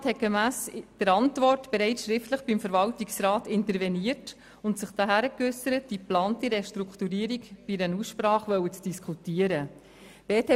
Der Regierungsrat hat gemäss seiner Antwort bereits schriftlich beim Verwaltungsrat interveniert und sich dahingehend geäussert, die geplante Restrukturierung in einer Aussprache diskutieren zu wollen.